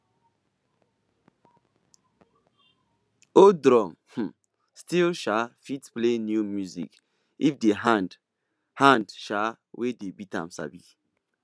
old drum um still um fit play new music if the hand hand um wey dey beat am sabi